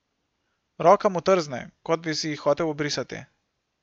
Roka mu trzne, kot bi si jih hotel obrisati.